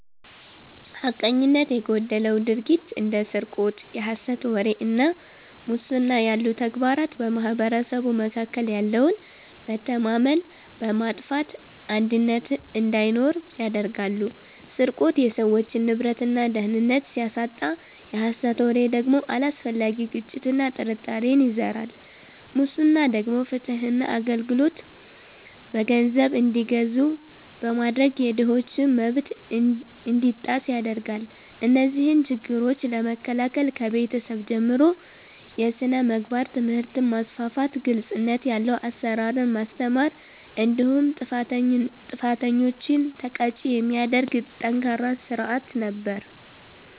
ሐቀኝነት የጎደለው ድርጊት እንደ ስርቆት፣ የሐሰት ወሬ እና ሙስና ያሉ ተግባራት በማኅበረሰቡ መካከል ያለውን መተማመን በማጥፋት አንድነትን እንዳይኖር ያደርጋሉ። ስርቆት የሰዎችን ንብረትና ደህንነት ሲያሳጣ፣ የሐሰት ወሬ ደግሞ አላስፈላጊ ግጭትና ጥርጣሬን ይዘራል። ሙስና ደግሞ ፍትህና አገልግሎት በገንዘብ እንዲገዙ በማድረግ የድሆችን መብት እንዲጣስ ያደርጋል። እነዚህን ችግሮች ለመከላከል ከቤተሰብ ጀምሮ የሥነ ምግባር ትምህርትን ማስፋፋት፤ ግልጽነት ያለው አሰራርን ማስተማር እንዲሁም ጥፋተኞችን ተቀጪ የሚያደርግ ጠንካራ ሥርዓት ነበር።